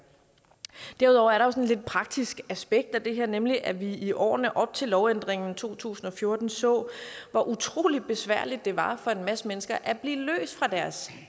derudover er der også et lidt praktisk aspekt i det her nemlig at vi i årene op til lovændringen i to tusind og fjorten så hvor utrolig besværligt det var for en masse mennesker at blive løst fra deres